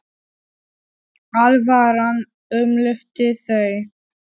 Alvaran umlukti þau.